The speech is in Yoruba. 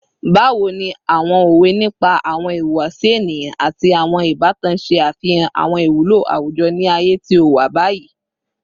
Bawo ni awọn owe nipa awọn ihuwasi eniyan ati awọn ibatan ṣe afihan awọn iwulo awujọ ni aaye ti o wa bayi?